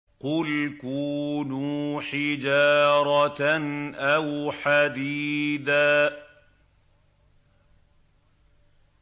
۞ قُلْ كُونُوا حِجَارَةً أَوْ حَدِيدًا